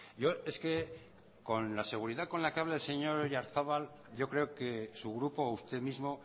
yo es que con la seguridad con la que habla el señor oyarzabal yo creo que su grupo usted mismo